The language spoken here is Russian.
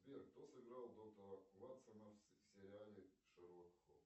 сбер кто сыграл доктора ватсона в сериале шерлок холмс